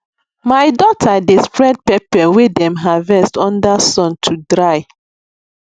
my daughter dey spread pepper wey wey dem harvest under sun to dry